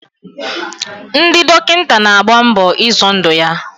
Ndị dọkịta na-agba mbọ izọ ndụ ya.